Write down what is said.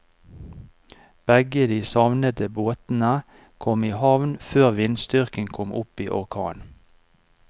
Begge de savnede båtene kom i havn før vindstyrken kom opp i orkan.